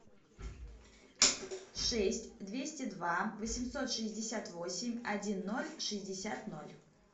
шесть двести два восемьсот шестьдесят восемь один ноль шестьдесят ноль